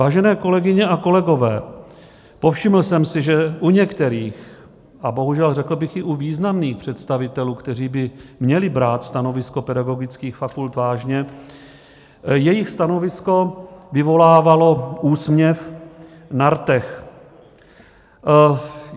Vážené kolegyně a kolegové, povšiml jsem si, že u některých, a bohužel řekl bych i u významných představitelů, kteří by měli brát stanovisko pedagogických fakult vážně, jejich stanovisko vyvolávalo úsměv na rtech.